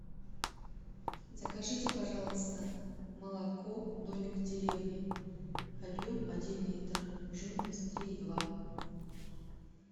закажите пожалуйста молоко домик в деревне объем один литр жирность три и два